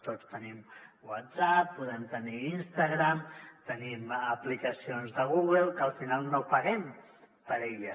tots tenim whatsapp podem tenir instagram tenim aplicacions de google que al final no paguem per elles